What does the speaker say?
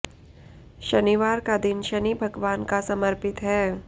शनिवार का दिन शनि भगवान का समर्पित है